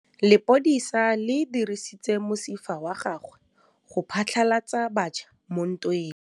Lepodisa le dirisitse mosifa wa gagwe go phatlalatsa batšha mo ntweng.